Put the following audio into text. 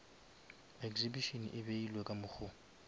exhibition e ebile ka mokgo